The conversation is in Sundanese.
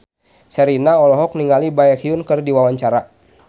Sherina olohok ningali Baekhyun keur diwawancara